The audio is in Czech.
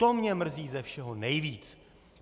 To mě mrzí ze všeho nejvíc.